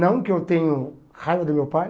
Não que eu tenho raiva do meu pai.